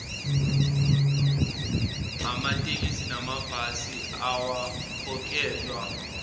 amatekisi namabhasi awakhokhelwa